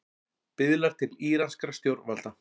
Biðlar til íranskra stjórnvalda